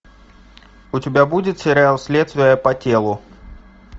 у тебя будет сериал следствие по телу